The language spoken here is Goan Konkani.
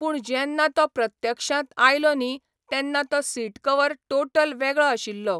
पूण जेन्ना तो प्रत्यक्षांत आयलो न्ही तेन्ना तो सीट कवर टोटल वेगळो आशिल्लो.